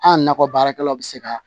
An nakɔ baarakɛlaw bɛ se ka